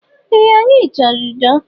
Ee, anyi chọrọ udo